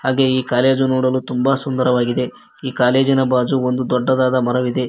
ಹಾಗೆ ಈ ಕಾಲೇಜು ನೋಡಲು ತುಂಬ ಸುಂದರವಾಗಿದೆ ಈ ಕಾಲೇಜಿನ ಬಾಜು ಒಂದು ದೊಡ್ಡ ಮರವಿದೆ.